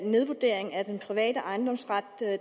nedvurdering af den private ejendomsret